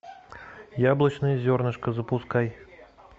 яблочное зернышко запускай